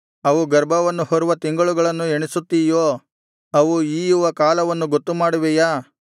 ಅವು ಗರ್ಭವನ್ನು ಹೊರುವ ತಿಂಗಳುಗಳನ್ನು ಎಣಿಸುತ್ತೀಯೋ ಅವು ಈಯುವ ಕಾಲವನ್ನು ಗೊತ್ತುಮಾಡುವೆಯೋ